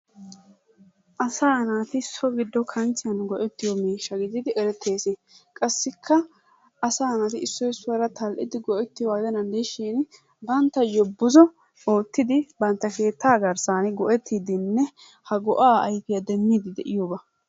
Asaa naati so giddo kanchchiyan go'ettiyo miishsha gididi erettees. Qassikka asaa naati issoy issuwara tal'ettidi go'ettiyogaa gidenaan de'ishiin banttayo buzo oottidi bantta keettaa garssan go'ettiidinne ha go'aa ayfiya demmiidi de'iyoba.